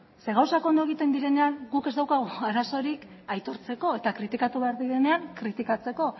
zeren gauzak ondo egiten direnean guk ez daukagu arazorik aitortzeko eta kritikatu behar direnean kritikatzeko